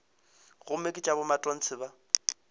gomme ke tša bomatontshe ba